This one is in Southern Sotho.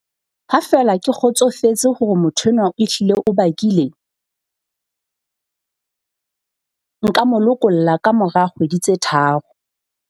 Ha feela ke kgotsofetse hore motho enwa ehlile o bakile, nka mo lokolla kamora kgwedi tse tharo.